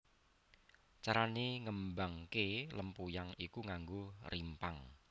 Carane ngembangke lempuyang iku nganggo rimpang